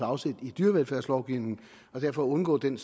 afsæt i dyrevelfærdslovgivningen og derfor undgå den